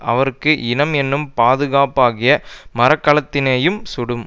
அவருக்கு இனம் என்னும் பாதுக்காப்பாகிய மரக்கலத்தினையும் சுடும்